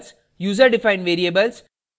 * user defined variables